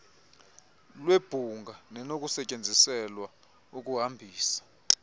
lwebhunga nenokusetyenziselwa ukuhambisa